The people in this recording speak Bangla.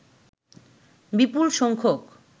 বিপুল সংখ্যক